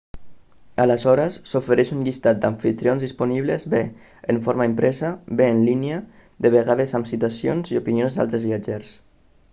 aleshores s'ofereix un llistat d'amfitrions disponibles bé en forma impresa bé en línia de vegades amb citacions i opinions d'altres viatgers